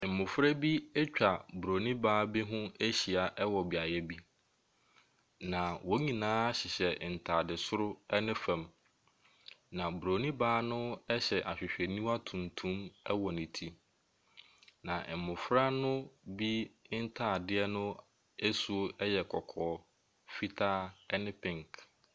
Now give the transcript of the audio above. Mmɔfra bi atwa bronin baa bi ho ahyia ɛwɔ beaeɛ bi, na wɔn nyinaa hyehyɛ ntaade soro ɛne fam. Na bronin baa no ɛhyɛ ahwehwɛniwa tuntum ɛwɔ ne ti. Na mmɔfra ne bi ntaadeɛ asuo ɛyɛ kɔkɔɔ, fitaa ɛne pink.